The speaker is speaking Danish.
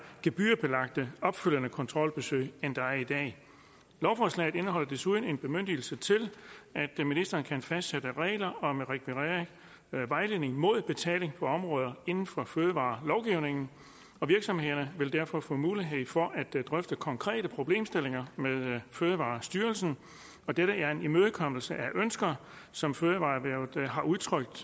gebyrbelagte opfølgende kontrolbesøg end der er i dag lovforslaget indeholder desuden en bemyndigelse til at ministeren kan fastsætte regler om rekvirering af vejledning mod betaling på områder inden for fødevarelovgivningen og virksomhederne vil derfor få mulighed for at drøfte konkrete problemstillinger med fødevarestyrelsen dette er en imødekommelse af de ønsker som fødevareerhvervet har udtrykt